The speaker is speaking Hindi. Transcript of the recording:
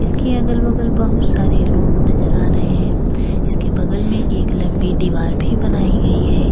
इसके अगल-बगल बहुत सारे लोग नजर आ रहे हैं इसके बगल में एक लंबी दीवार भी बनाई गई है।